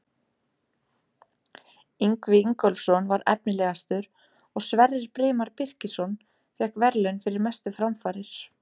Ingvi Ingólfsson var efnilegastur og Sverrir Brimar Birkisson fékk verðlaun fyrir mestu framfarir.